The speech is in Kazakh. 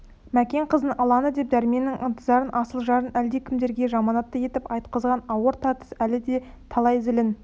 мәкен қыздың ылаңы деп дәрменнің ынтызарын асыл жарын әлдекімдерге жаманатты етіп айтқызған ауыр тартыс әлі де талай зілін